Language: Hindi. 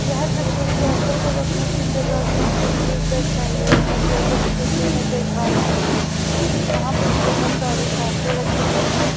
यह तस्वीर भैंसों को रखने की जगह की तस्वीर दर्शाई गई है जैसा की तस्वीर में आप देख पा रहे हैं यहां पर बहोत सारी भैंसे रखी गई है।